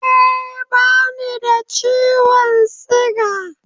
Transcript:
Eh, bani da ciwon siga